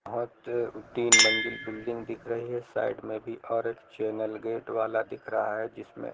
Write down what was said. तीन मंजिल बिल्डिंग दिख रही है साइड में भी और एक चैनल गेट वाला दिख रहा है जिसमें --